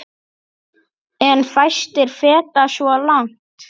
En fæstir feta svo langt.